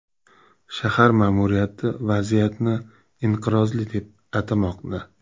Shahar ma’muriyati vaziyatni inqirozli deb atamoqda.